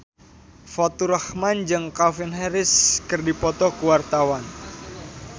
Faturrahman jeung Calvin Harris keur dipoto ku wartawan